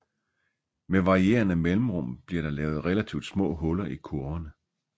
Med varierende mellemrum bliver der lavet relativt små huller i kurverne